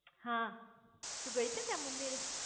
હા તું ગઈ છે ત્યાં મંદિરે